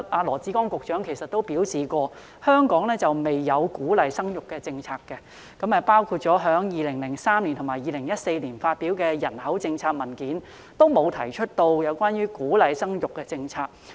羅致光局長曾表示，香港政府沒有鼓勵生育的政策，在2003年及2014年所發表有關人口政策的文件中，均沒有提出鼓勵生育的政策。